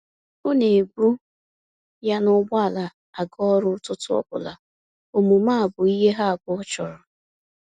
Ọ na ebu ya na ụgbọala aga ọrụ ụtụtụ ọbụla, omume a bụ ihe ha abụọ chọrọ.